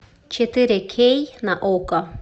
четыре кей на окко